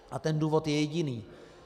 A ten důvod je jediný.